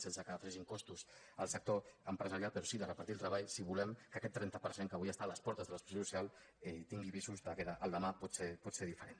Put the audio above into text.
sense que s’afegeixin costos al sector empresarial però sí que de repartir el treball si volem que aquest trenta per cent que avui està a les portes de l’exclusió social tingui visos que el demà pot ser diferent